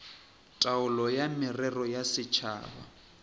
taolo ya merero ya setšhaba